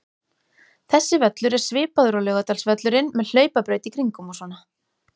Þessi völlur er svipaður og Laugardalsvöllurinn, með hlaupabraut í kringum og svona.